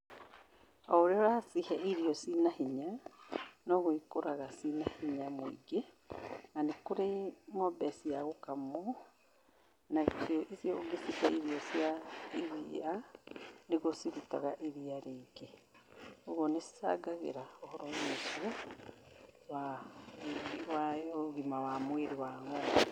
Oũrĩa ũracihe irio cina hinya, noguo ikũraga cina hinya mũingĩ. Na nĩ kũrĩ ng'ombe cia gũkamwo, nacio icio ũngĩcihe irio cia iria, nĩguo cirutaga iria rĩingĩ. Ũguo nĩ cicangagĩra ũhoro wa irio icio wa ũgima wa mwĩrĩ wa ng'ombe.